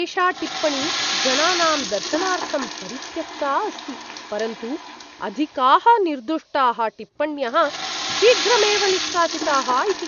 एषा टिप्पणी जनानां दर्शनार्थं परित्यक्ता अस्ति, परन्तु अधिकाः निर्दुष्टाः टिप्पण्यः शीघ्रमेव निष्कासिताः इति।